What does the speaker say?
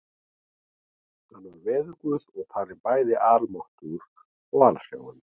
Hann var veðurguð og talinn bæði almáttugur og alsjáandi.